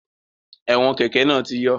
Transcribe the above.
Ẹ̀wọn kẹ́kẹ̀ náà ti yọ